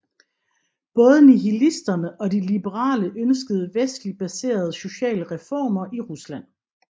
Båbe nihilisterne og de liberale ønskede vestligt baserede sociale reformer i Rusland